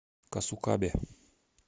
касукабе